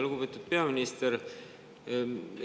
Lugupeetud peaminister!